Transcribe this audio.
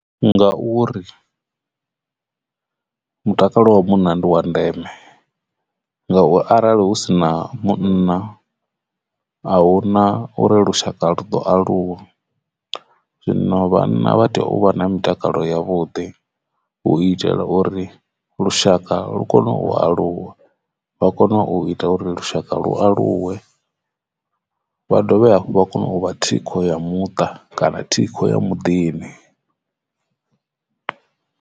Ngauri mutakalo wa munna ndi wa ndeme nga u arali hu si na munna a hu na uri lushaka lu ḓo aluwa zwino vhana vha tea u vha na mutakalo yavhuḓi hu itela uri lushaka lu kone u aluwa vha kone u ita uri lushaka lu aluwe vha dovhe hafhu vha kone u vha thikho ya muṱa kana thikho ya muḓini.